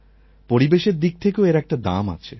পরিবেশের দিক থেকেও এর একটা দাম আছে